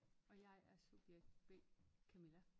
Og jeg er subjekt B Camilla